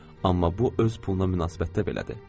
Amma bu öz puluna münasibətdə belədir.